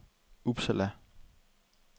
Uppsala